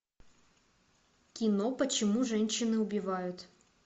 кино почему женщины убивают